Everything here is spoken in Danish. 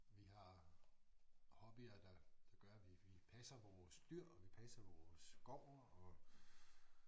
Vi har hobbyer der der gør at vi vi passer vores dyr og vi passer vores gård og